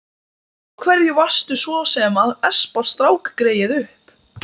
Af hverju varstu svo sem að espa strákgreyið upp?